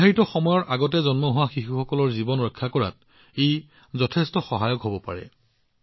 ই সময়ৰ পূৰ্বে জন্ম হোৱা শিশুৰ জীৱন ৰক্ষা কৰাত যথেষ্ট সহায়ক প্ৰমাণিত হব পাৰে